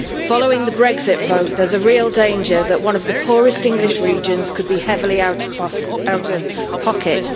Following the Brexit vote, there is a real danger that one of the poorest English regions could be heavily out of pocket.